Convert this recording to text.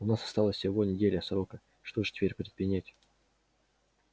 у нас осталась всего неделя срока что же теперь предпринять